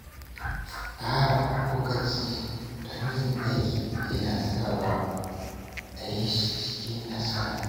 Tsara lokaci don yin aiki yana sawa ayi shi cikin nasara.